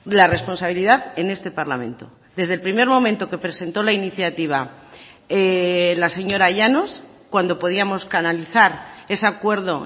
la responsabilidad en este parlamento desde el primer momento que presentó la iniciativa la señora llanos cuando podíamos canalizar ese acuerdo